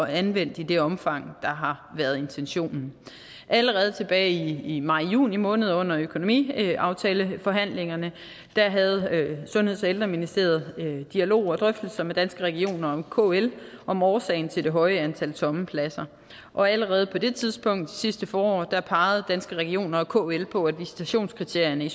anvendt i det omfang der har været intentionen allerede tilbage i majjuni måned under økonomiaftaleforhandlingerne havde sundheds og ældreministeriet dialog og drøftelser med danske regioner og kl om årsagen til det høje antal tomme pladser og allerede på det tidspunkt altså sidste forår pegede danske regioner og kl på at visitationskriterierne i